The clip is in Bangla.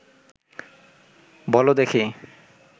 বলো দেখি